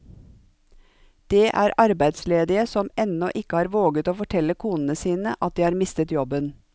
Det er arbeidsledige som ennå ikke har våget å fortelle konene sine at de har mistet jobben.